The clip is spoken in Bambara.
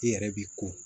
I yɛrɛ b'i ko